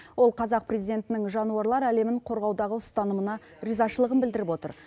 ол қазақ президентінің жануарлар әлемін қорғаудағы ұстанымына ризашылығын білдіріп отыр